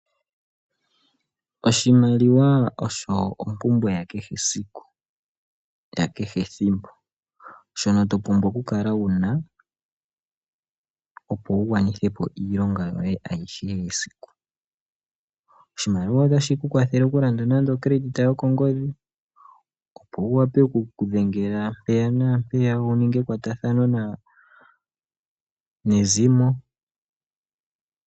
Oshimaliwa osho ompumbwe yakehe esiku, yakehe ethimbo. Shino to pumbwa okukala wu na opo wu gwanithe po iilonga yoye ayihe yesiku. Oshimaliwa otashi ku kwathele okulanda ethimbo lyokongodhi, opo wu wape okudhengela mpeya naa mpeya wu ninge ekwatathano nezimo.